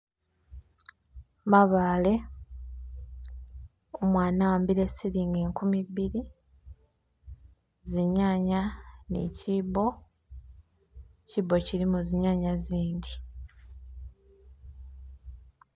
Mabaale, umwana ahambile silingi nkumibili zinyanya ni chibbo, chibbo chilimo zinyanya zindi.